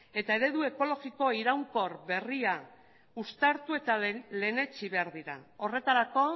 eta eredu ekologiko iraunkor berria uztartu eta lehenetsi behar dira horretarako